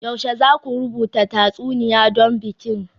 Yaushe za ku rubuta tatsuniya don bikin?